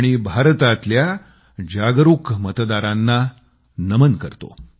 आणि भारतातल्या जागरूक मतदारांना नमन करतो